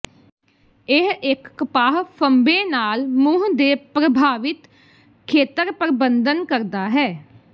ਇਹ ਇੱਕ ਕਪਾਹ ਫ਼ੰਬੇ ਨਾਲ ਮੂੰਹ ਦੇ ਪ੍ਰਭਾਵਿਤ ਖੇਤਰ ਪਰਬੰਧਨ ਕਰਦਾ ਹੈ